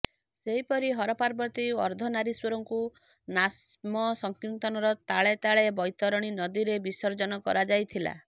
ସେହିପରି ହରପାର୍ବତୀ ଓ ଅର୍ଦ୍ଧନାରୀଶ୍ୱରଙ୍କୁ ନାମସଙ୍କୀର୍ତ୍ତନର ତାଳେ ତାଳେ ବୈତରଣୀ ନଦୀରେ ବିସର୍ଜ୍ଜନ କରାଯାଇଥିଲା